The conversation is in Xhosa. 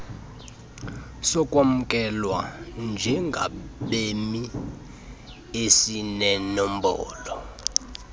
sokwamkelwa njengabemi esinenombolo